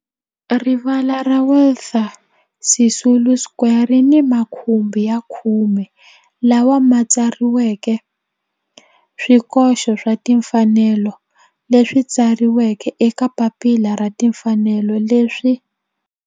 Rivala ra Walter Sisulu Square ri ni makhumbi ya khume lawa ma tsariweke swikoxo swa timfanelo leswi tsariweke eka papila ra timfanelo leswi